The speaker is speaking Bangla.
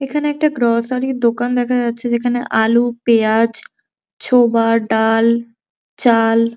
এখানে একটা গ্রসরি র দোকান দেখা যাচ্ছে যেখানে আলু পেঁয়াজ ছোবা ডাল চাল --